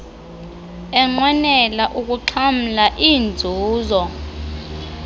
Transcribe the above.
enqwenela ukuxhamla iinzuzo